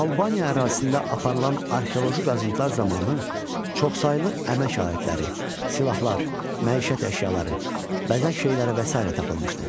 Albaniya ərazisində aparılan arxeoloji qazıntılar zamanı çoxsaylı əmək alətləri, silahlar, məişət əşyaları, bəzək şeyləri və sairə tapılmışdı.